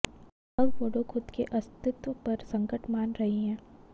अब वोडो खुद के अस्तित्व पर संकट मान रहे हैं